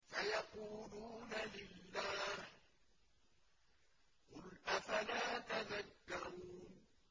سَيَقُولُونَ لِلَّهِ ۚ قُلْ أَفَلَا تَذَكَّرُونَ